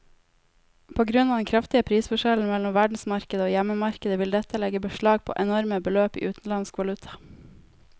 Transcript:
På grunn av den kraftige prisforskjellen mellom verdensmarkedet og hjemmemarkedet vil dette legge beslag på enorme beløp i utenlandsk valuta.